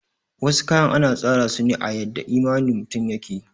Wasu kayan ana tsara suna a yadda imanin mutum yake